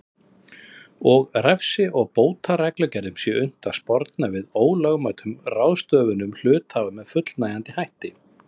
og refsi og bótareglum sé unnt að sporna við ólögmætum ráðstöfunum hluthafa með fullnægjandi hætti.